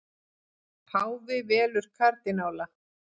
Páfi velur kardínála